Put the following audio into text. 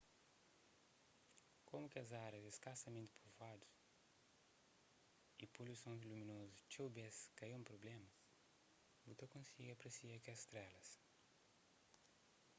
komu kes árias é skasamenti povuadu y poluison luminozu txeu bês ka é un prubléma bu ta konsigi apresia strélas